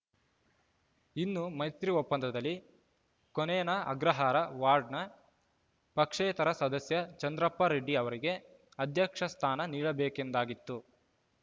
ಇನ್ನು ಮೈತ್ರಿ ಒಪ್ಪಂದದಲ್ಲಿ ಕೋನೇನ ಅಗ್ರಹಾರ ವಾರ್ಡ್‌ನ ಪಕ್ಷೇತರ ಸದಸ್ಯ ಚಂದ್ರಪ್ಪ ರೆಡ್ಡಿ ಅವರಿಗೆ ಅಧ್ಯಕ್ಷ ಸ್ಥಾನ ನೀಡಬೇಕೆಂದಾಗಿತ್ತು